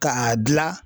K'a dilan